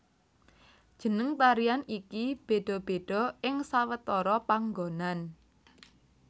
Jeneng tarian iki béda béda ing sawetara panggonan